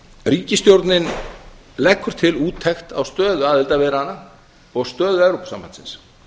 ríkisstjórnin leggur til úttekt á stöðu aðildarviðræðna og stöðu evrópusambandsins